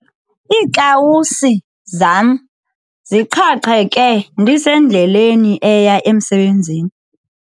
Iikawusi zam ziqhaqheke ndisendleleni eya emsebenzini.